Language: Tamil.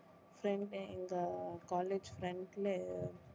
front எங்க college front ல